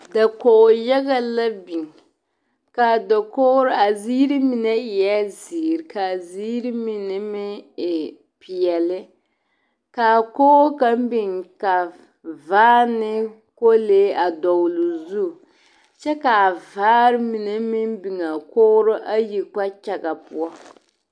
DakogI yaga la biŋ ka a dokogri ka a ziiri mine eɛ zeere ka a ziiri mine meŋ e peɛle ka a kogi kaŋ biŋ ka vaare ne kolee a dɔgle zu kyɛ ka a vaare mine meŋ biŋ a kogri ayi kpakyagaŋ poɔ.